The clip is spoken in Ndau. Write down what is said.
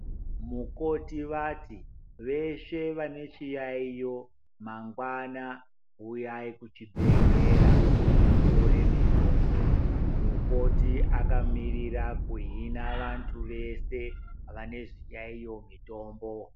Mukoti vati veshe vane chiyaiyo mangwana huyai kuchibhedhlera mutore mitombo yenyu. Mukoti vakamirira kuhina vantu vese vane zviyaiyo mutombo.